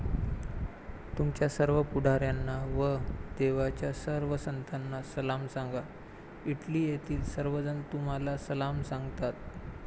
तुमच्या सर्व पुढाऱ्यांना व देवाच्या सर्व संतांना सलाम सांगा, इटली येथील सर्वजण तुम्हांला सलाम सांगतात.